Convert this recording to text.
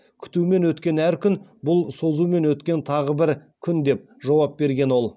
күтумен өткен әр күн бұл созумен өткен тағы бір күн деп жауап берген ол